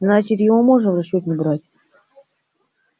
значит его можно в расчёт не брать